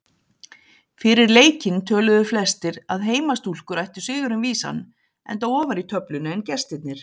Fyrir leikinn töluðu flestir að heimastúlkur ættu sigurinn vísan enda ofar í töflunni en gestirnir.